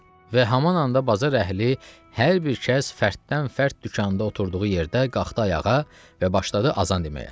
Və haman anda bazar əhli hər bir kəs fərddən-fərd dükanda oturduğu yerdə qalxdı ayağa və başladı azan deməyə.